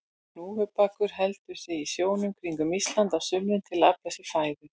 Hnúfubakur heldur sig í sjónum kringum Ísland á sumrin til að afla sér fæðu.